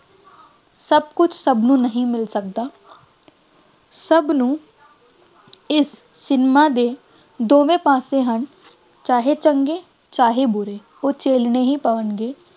ਸਭ ਕੁੱਝ ਸਭ ਨੂੰ ਨਹੀਂ ਮਿਲ ਸਕਦਾ, ਸਭ ਨੂੰ ਇਸ ਸਿਨੇਮਾ ਦੇ ਦੋਵੇਂ ਪਾਸੇ ਹਨ, ਚਾਹੇ ਚੰਗੇ, ਚਾਹੇ ਬੁਰੇ ਉਹ ਝੇਲਣੇ ਹੀ ਪੈਣਗੇ